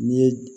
N'i ye